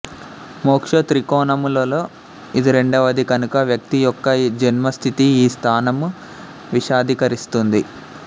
మోక్ష త్రికోణములలో ఇది రెండవది కనుక వ్యక్తి యొక్క ఈ జన్మ స్థితి ఈ స్థానము విశదీకరిస్తుంది